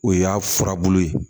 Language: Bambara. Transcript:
O y'a furabulu ye